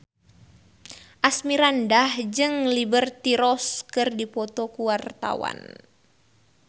Asmirandah jeung Liberty Ross keur dipoto ku wartawan